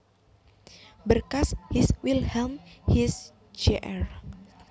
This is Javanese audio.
Berkas His Wilhelm His Jr